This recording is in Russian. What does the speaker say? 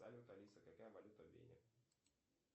салют алиса какая валюта в вене